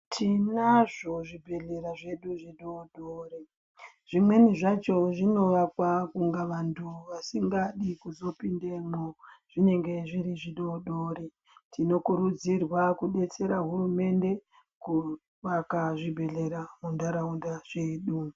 Tinazvo zvibhedhlera zvidodori zvimweni zvacho zvinovakwa kunga vantu vasingadi kuzopindamwo zvinenge zviri zvidodori tinokurudzirwa kudetsera hurumende kuvaka zvibhedhlera munharaunda mwedu.